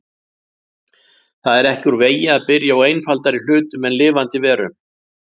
Það er ekki úr vegi að byrja á einfaldari hlutum en lifandi verum.